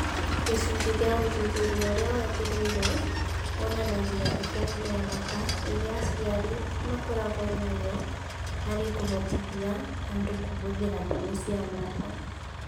Gĩcunjĩ kĩa ũthuthuria ũrĩa wagĩrĩire wonanagia itemi rĩa bata rĩrĩa aciari makoragwo narĩo harĩ kũhotithia andũ kũhũthĩra thimũ cia moko